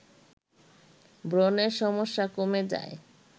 ব্রণের সমস্যা কমে যায়